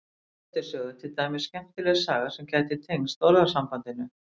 í grettis sögu er til dæmis skemmtileg saga sem gæti tengst orðasambandinu